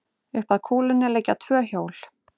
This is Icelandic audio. Upp að kúlunni liggja tvö hjól.